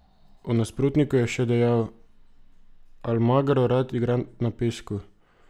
O nasprotniku je še dejal: "Almagro rad igra na pesku.